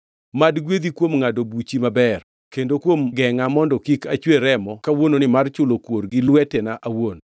Mad gwedhi kuom ngʼado buchi maber kendo kuom gengʼa mondo kik achwer remo kawuononi mar chulo kuor gi lwetena awuon.